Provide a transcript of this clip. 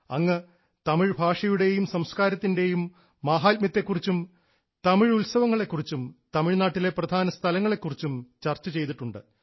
അങ്ങ് തമിഴ് ഭാഷയുടെയും സംസ്കാരത്തിൻറെയും മാഹാത്മ്യത്തെ കുറിച്ചും തമിഴ് ഉത്സവങ്ങളെ കുറിച്ചും തമിഴ്നാട്ടിലെ പ്രധാന സ്ഥലങ്ങളെ കുറിച്ചും ചർച്ച ചെയ്തിട്ടുണ്ട്